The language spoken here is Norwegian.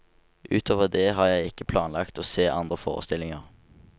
Utover det har jeg ikke planlagt å se andre forestillinger.